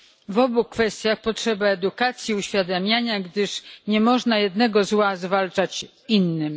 W obu kwestiach potrzeba edukacji i uświadamiania, gdyż nie można jednego zła zwalczać innym.